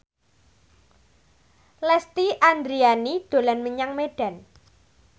Lesti Andryani dolan menyang Medan